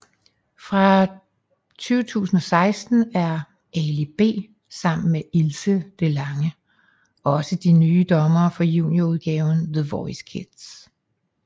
Fra 2016 er Ali B sammen med Ilse DeLange også de nye dommere for junior udgaven The Voice Kids